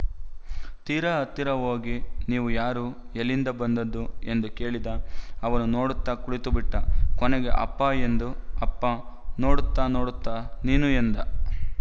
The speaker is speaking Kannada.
ತೀರ ಹತ್ತಿರ ಹೋಗಿ ನೀವು ಯಾರು ಎಲ್ಲಿಂದ ಬಂದದ್ದು ಎಂದು ಕೇಳಿದ ಅವನು ನೋಡುತ್ತ ಕುಳಿತುಬಿಟ್ಟ ಕೊನೆಗೆ ಅಪ್ಪಾ ಎಂದ ಅಪ್ಪ ನೋಡುತ್ತಾ ನೋಡುತ್ತಾ ನೀನೂ ಎಂದ